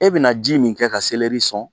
E bina ji min kɛ ka sɔn